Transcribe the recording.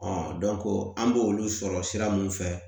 an b'olu sɔrɔ sira mun fɛ